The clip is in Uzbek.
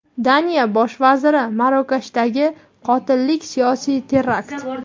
Daniya Bosh vaziri: Marokashdagi qotillik siyosiy terakt.